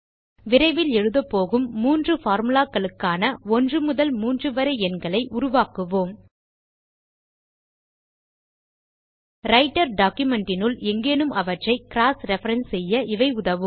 விரைவில் எழுதபோகும் 3 formulaகளுக்கான 1 முதல் 3 வரை எண்களை உருவாக்குவோம் ரைட்டர் documentனுள் எங்கேயும் அவற்றை க்ராஸ் ரெஃபரன்ஸ் செய்ய இவை உதவும்